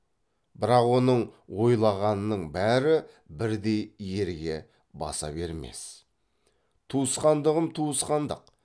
бірақ оның ойлағанының бәрі бірдей ерге баса бермес туысқандығым туысқандық